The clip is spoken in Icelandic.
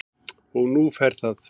Og nú fer það